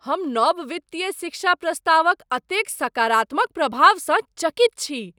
हम नव वित्तीय शिक्षा प्रस्तावक एतेक सकारात्मक प्रभावसँ चकित छी।